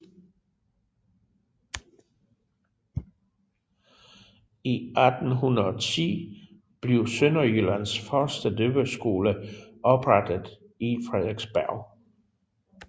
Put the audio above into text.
I 1810 blev Sønderjyllands første døveskole oprettet i Frederiksberg